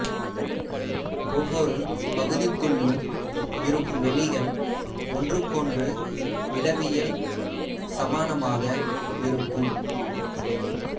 ஒவ்வொரு பகுதிக்குள்ளும் இருக்கும் வெளிகள் ஒன்றுக்கொன்று இடவியல் சமானமாக இருக்கும்